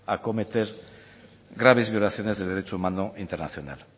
acometer graves violaciones de derecho humano internacional